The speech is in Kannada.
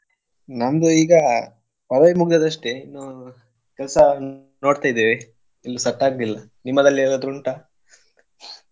ನಮ್ದು ಈಗಾ college ಮುಗ್ದಿದ್ ಅಷ್ಟೇ ಇನ್ನು ಕೆಲ್ಸಾ ನೋಡ್ತ ಇದೇವೆ ಇನ್ನು set ಆಗ್ಲಿಲ್ಲ ನಿಮ್ಮದ್ರಲ್ಲಿ ಏನಾದ್ರೂ ಉಂಟಾ?